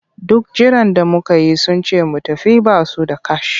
Duk jiran da muka yi sun ce mu tafi ba su da kash.